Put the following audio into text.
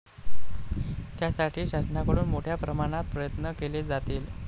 त्यासाठी शासनाकडून मोठ्या प्रमाणात प्रयत्न केले जातील.